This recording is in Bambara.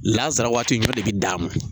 Laazara waati ɲɔ de bi d'a ma.